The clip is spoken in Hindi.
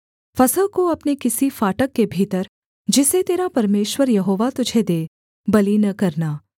फसह को अपने किसी फाटक के भीतर जिसे तेरा परमेश्वर यहोवा तुझे दे बलि न करना